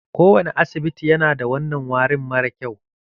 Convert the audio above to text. Kowane asibiti yana da wannan warin mara kyau.